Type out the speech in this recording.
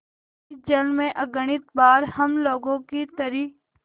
इस जल में अगणित बार हम लोगों की तरी